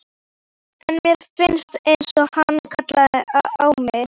En mér fannst einsog hann kallaði á mig.